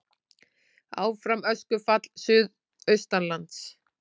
Áfram öskufall suðaustanlands